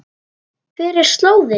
Hver er slóðin?